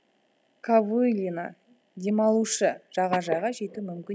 ковылина демалушы жағажайға жету мүмкін